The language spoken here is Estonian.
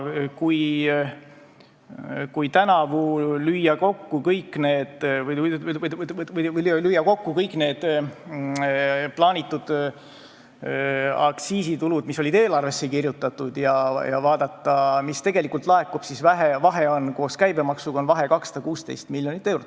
Kui tänavu lüüa kokku kõik need plaanitud aktsiisitulud, mis olid eelarvesse kirjutatud, ja vaadata, mis tegelikult laekub, siis koos käibemaksuga on vahe 216 miljonit eurot.